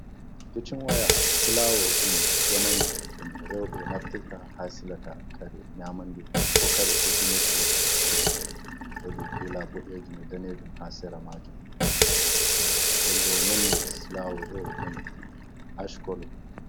Kicin waya silawod ɗum jamanu ɗum rewɓe naftirta ha silata kare nyamande ko kare kutinirɗe kicin, woodi kula daneejum e daneejum ha sera majum , nden bo nonde silawus ɗo haj kolo.